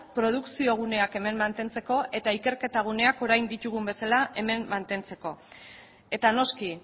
produkzio guneak hemen mantentzeko eta ikerketa gunean orain ditugun bezala hemen mantentzeko eta noski